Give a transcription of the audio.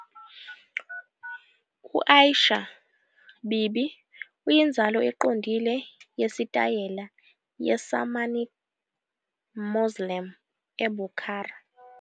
U-Aisha Bibi uyinzalo eqondile yesitayela ye- Samanid Mausoleum e- Bukhara.